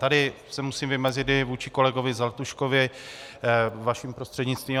Tady se musím vymezit i vůči kolegovi Zlatuškovi vaším prostřednictvím.